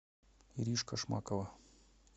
иришка шмакова